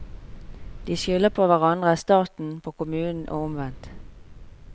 De skylder på hverandre, staten på kommunen, og omvendt.